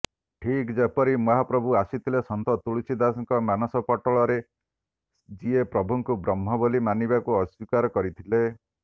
ଠିକ୍ ଯେପରି ମହାପ୍ରଭୁ ଆସିଥିଲେ ସନ୍ଥ ତୁଳସୀଙ୍କ ମାନସପଟରେ ଯିଏ ପ୍ରଭୁଙ୍କୁ ବ୍ରହ୍ମ ବୋଲି ମାନିବାକୁ ଅସ୍ୱୀକାର କରିଥିଲେ